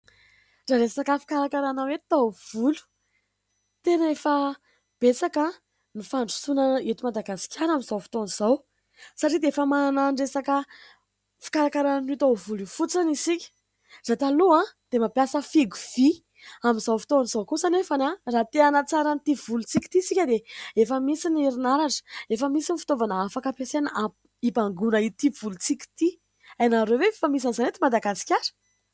Raha resaka fikarakarana hoe taovolo, tena efa betsaka ny fandrosoana eto Madagasikara amin'izao fotoana izao satria dia efa manana ny resaka fikarakarana an'io taovolo io fotsiny isika. Raha taloha dia mampiasa fihogo vy. Amin'izao fotaona izao kosa anefa raha te hanatsara an'ity volontsika ity isika dia efa misy ny herinaratra, efa misy ny fitaovana afaka ampiasaina hibangoana ity volontsika ity. Ainareo ve fa misy an'izany eto Madagasikara ?